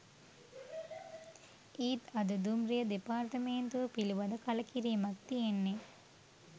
ඒත් අද දුම්රිය දෙපාර්තමේන්තුව පිළිබඳ කළකිරීමක් තියෙන්නේ.